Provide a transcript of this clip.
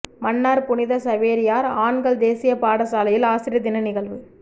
மன்னார் புனித சவேரியார் ஆண்கள் தேசிய பாடசாலையில் ஆசிரியர் தின நிகழ்வு